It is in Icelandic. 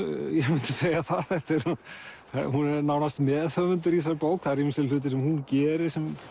segja það hún er nánast meðhöfundur í þessari bók það eru ýmsir hlutir sem hún gerir sem